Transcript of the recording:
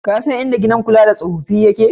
Ka san inda gidan kula da tsofaffi yake?